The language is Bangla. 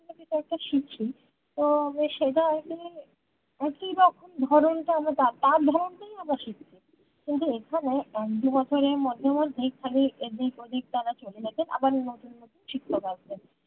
কিছু একটা শিখি তো সেটা আর কি একই রকম ধরণ টা তার ধরন টাই আমরা শিখছি কিন্তু এখানে এক দু বছরের মধ্যে মধ্যে খালি এদিক ওদিক তারা চলে গেছে আবার নতুন নতুন শিক্ষক আসছে